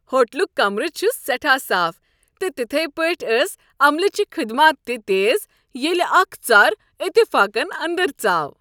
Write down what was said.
ہوٹلک کمرٕ چھُ سیٹھاہ صاف، تہٕ تتھے پٲٹھۍ ٲس عملہٕ چہٕ خدمات تہِ تیز ییٚلہِ اکھ ژر اتفاقن انٛدر ژاو ۔